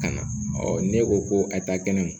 Ka na ne ko ko a ta kɛnɛ ma